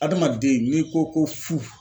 Adamaden n'i ko ko fu.